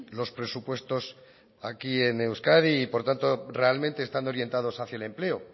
los presupuestos aquí en euskadi y por tanto realmente estando orientados hacia el empleo